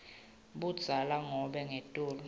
budzala nobe ngetulu